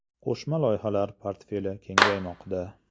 Qo‘shma loyihalar portfeli kengaymoqda.